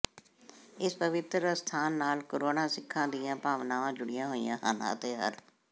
ਇਸ ਪਵਿੱਤਰ ਅਸਥਾਨ ਨਾਲ ਕਰੋੜਾਂ ਸਿੱਖਾਂ ਦੀਆਂ ਭਾਵਨਾਵਾਂ ਜੁੜੀਆਂ ਹੋਈਆਂ ਹਨ ਅਤੇ ਹਰ